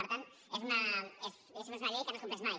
per tant diguem ne és una llei que no es compleix mai